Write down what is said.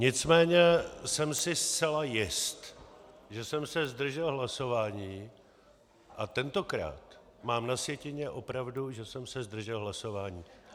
Nicméně jsem si zcela jist, že jsem se zdržel hlasování, a tentokrát mám na sjetině opravdu, že jsem se zdržel hlasování.